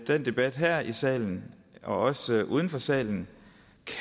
den debat her i salen og også uden for salen